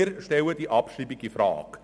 Wir stellen diese Abschreibung infrage.